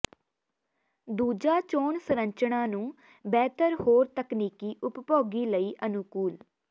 ਦੂਜਾ ਚੋਣ ਸੰਰਚਨਾ ਨੂੰ ਬਿਹਤਰ ਹੋਰ ਤਕਨੀਕੀ ਉਪਭੋਗੀ ਲਈ ਅਨੁਕੂਲ